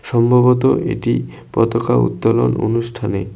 সম্ভবত এটি পতাকা উত্তোলন অনুষ্ঠানে--